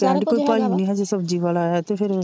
ਕਹਿਣ ਦੀ ਕੋਈ ਭਾਈ ਵੀ ਨਹੀਂ ਹਜੇ ਸਬਜ਼ੀ ਵਾਲ ਆਇਆ ਤੇ ਫਿਰ